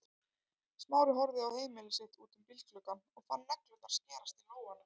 Smári horfði á heimili sitt út um bílgluggann og fann neglurnar skerast í lófana.